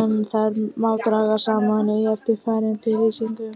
en þær má draga saman í eftirfarandi lýsingu.